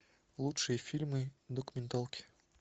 лучшие фильмы документалки